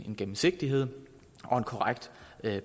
gennemsigtighed og korrekt